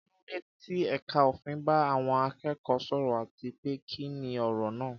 Kí ló dé tí ẹ̀ka òfin bá àwọn akẹ́kọ̀ọ́ sọ̀rọ̀, àti pé kí ni ọ̀rọ̀ náà?